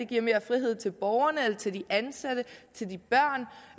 giver mere frihed til borgerne eller til de ansatte